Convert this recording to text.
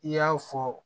I y'a fɔ